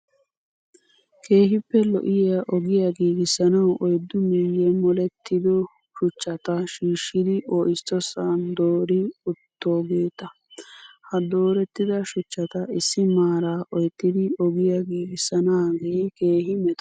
Keehippe lo''iyaa ogiyaa giigissanawu oyiddu miyyee molettido shuchchata shiishshidi oissosan doori uttoogeeta. Ha doorettida shuchchata issi maaraa oyittidi ogiya giigissanaagee keehi meto.